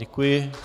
Děkuji.